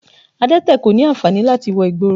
Adẹ́tẹ̀ kò ní ànfàní láti wọ ìgboro